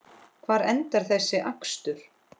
Hvar endar þessi akstur?